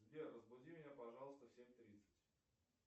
сбер разбуди меня пожалуйста в семь тридцать